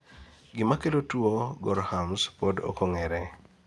gimakelo tuwo gorham's pod okong'ere